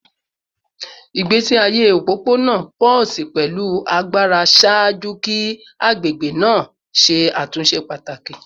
Igbesi aye opopona pulsed pẹlu agbara ṣaaju ki agbegbe naa ṣe atunṣe pataki